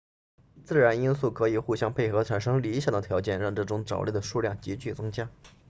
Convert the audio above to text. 自然因素可以互相配合产生理想的条件让这种藻类的数量急剧增加